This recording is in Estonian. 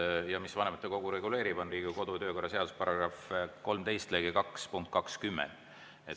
Ja see, mis vanematekogu reguleerib, on Riigikogu kodu‑ ja töökorra seaduse § 13 lõige 1 punkt 20.